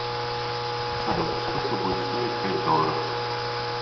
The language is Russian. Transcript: салют сколько будет стоить пять долларов